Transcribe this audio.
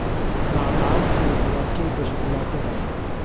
Macmacaankaygu waa keega shukulaatada.